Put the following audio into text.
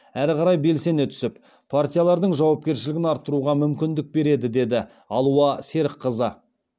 әрі қарай белсене түсіп партиялардың жауапкершілігін арттыруға мүмкіндік береді деді алуа серікқызы